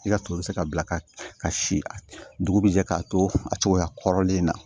I ka to bɛ se ka bila ka si dugu bɛ jɛ k'a to a cogoya kɔrɔlen in na